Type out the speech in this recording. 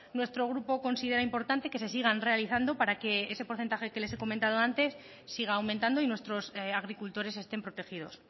nuestro grupo considera importante que se sigan realizando para que ese porcentaje que les he comentado antes siga aumentando y nuestros agricultores estén protegidos